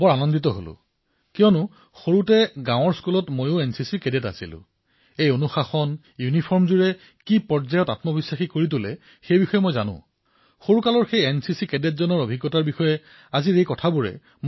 মোৰ বাবে এয়া অতিশয় আনন্দৰ কথা যে মই সৰুতে গাঁৱৰ বিদ্যালয়ত এনচিচি কেডেট আছিলো আৰু মই জানো যে এই নিয়মানুৱৰ্তিতা এই ঐক্যৱেশ আদিৰ বাবে আত্মবিশ্বাস বৃদ্ধি হয় আৰু এইসকলো বোৰ মই শৈশৱতে এনচিচি কেডেটৰ ৰূপত অভিজ্ঞতা লাভ কৰিবলৈ সমৰ্থ হৈছিলো